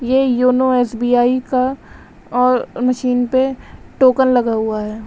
यह YONO S B I का और मशीन पर टोकन लगा हुआ है।